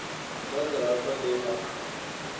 ḽa ḓa hafha ḽi a